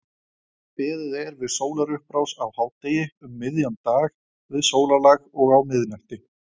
Beðið er við sólarupprás, á hádegi, um miðjan dag, við sólarlag og á miðnætti.